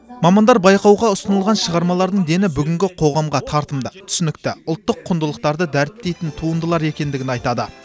мамандар байқауға ұсынылған шығармалардың дені бүгінгі қоғамға тартымды түсінікті ұлттық құндылықтарды дәріптейтін туындылар екендігін айтады